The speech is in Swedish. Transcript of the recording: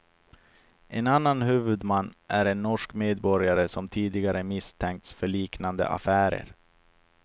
En annan huvudman är en norsk medborgare som tidigare misstänkts för liknande affärer.